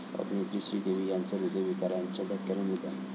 अभिनेत्री श्रीदेवी यांचं हृदयविकाराच्या धक्क्याने निधन